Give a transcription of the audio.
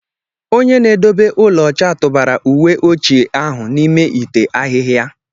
Onye n'edobe ulọ ọcha tụbara uwe ochie ahụ n'ime ite ahịhịa.